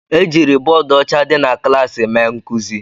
Ejiri bọọdụ ọcha dị na klaasị mee nkuzi